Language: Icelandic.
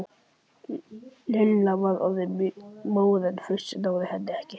Lilla var orðin móð en Fúsi náði henni ekki.